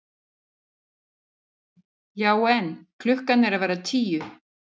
Já en. klukkan er að verða tíu!